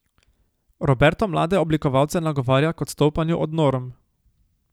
Roberto mlade oblikovalce nagovarja k odstopanju od norm.